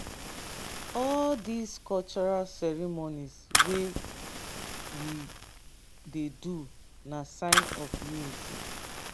all these cultural ceremonies wey we dey do na sign of unity